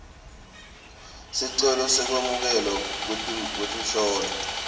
sicelo sekwamukelwa kwetinhlobo